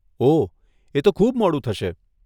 ઓહ, એ તો ખૂબ મોડું થશે.